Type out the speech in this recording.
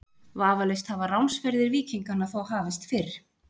Vafalaust hafa ránsferðir víkinganna þó hafist fyrr.